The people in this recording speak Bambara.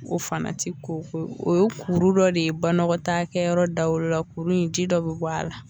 O fana ti o ye kuru dɔ de ye banakɔtakɛ yɔrɔ dawolo la, kuru in ji dɔ bi bɔ a la